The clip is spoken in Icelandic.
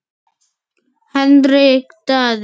Hendrik Daði.